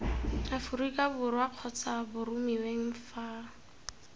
aforika borwa kgotsa boromiweng fa